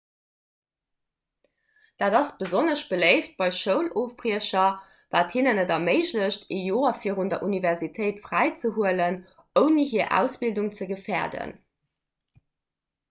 dat ass besonnesch beléift bei schoulofbriecher wat hinnen et erméiglecht ee joer virun der universitéit fräizehuelen ouni hir ausbildung ze gefäerden